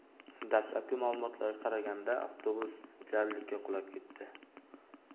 Dastlabki ma’lumotlarga qaraganda, avtobus jarlikka qulab ketdi.